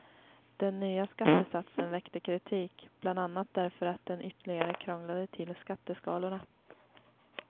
Den nya skattesatsen väckte kritik, bland annat därför att den ytterligare krånglade till skatteskalorna.